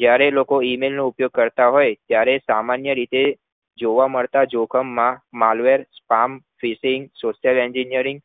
જયારે લોકો email કરતા થાય ત્યારે સામાન્ય રીતે જોવા મળતા જોખમ માં malver spam software engineering